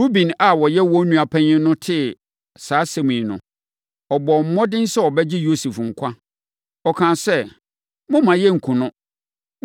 Ruben a ɔyɛ wɔn nua panin tee saa asɛm yi no, ɔbɔɔ mmɔden sɛ ɔbɛgye Yosef nkwa. Ɔkaa sɛ, “Mommma yɛnkum no.